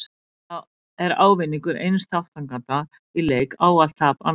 Þá er ávinningur eins þátttakanda í leik ávallt tap annars.